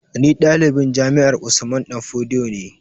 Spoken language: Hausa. Ni ɗalibin jami'ar Usman danfodiyo ne